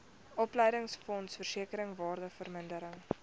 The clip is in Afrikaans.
opleidingsfonds versekering waardevermindering